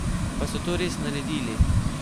Pa so to res naredili?